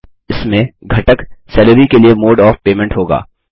इसमें घटक सैलरी के लिए मोड ऑफ पेमेंट होगा